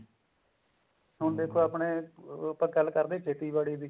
ਹੁਣ ਦੇਖੋ ਆਪਣੇ ਆਪਾਂ ਗੱਲ ਕਰਦੇ ਸੀ ਖੇਤੀਬਾੜੀ ਦੀ